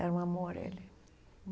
Era um amor, ele.